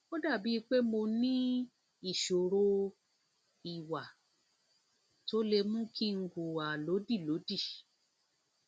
ó dàbíi pé mo dàbíi pé mo ní ìṣòro ìwà tó lè mú kí n hùwà lódìlódì